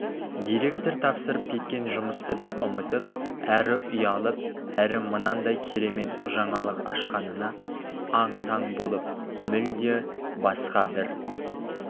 директор тапсырып кеткен жұмысты да ұмытып әрі ұялып әрі мынандай керемет жаңалық ашқанына аң-таң болып мүлде басқа бір